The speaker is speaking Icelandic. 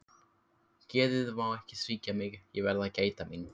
Geðið má ekki svíkja mig, ég verð að gæta mín.